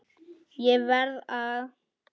ÉG VERÐ AÐ